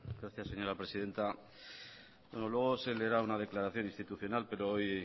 gracias señora persidenta luego se leerá una declaración institucional pero hoy